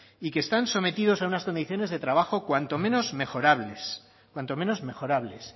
y que están sometidos a unas condiciones de trabajo cuanto menos mejorables